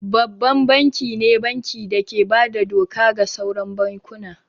Babban banki ne banki da ke bada doka ga sauran bankuna